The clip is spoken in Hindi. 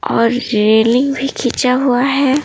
और रेलिंग भी खींचा हुआ है।